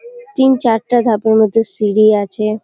তিন চারটা ধাপের মতো সিঁড়ি আছে।